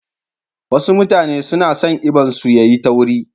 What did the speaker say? Wasu mutane suna son eban su yayi tauri.